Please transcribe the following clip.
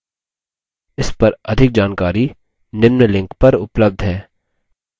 इस पर अधिक जानकारी निम्न लिंक पर उपलब्ध है